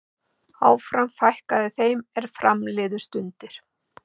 áfram fækkaði þeim er fram liðu stundir